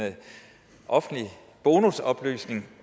offentlig bonusoplysning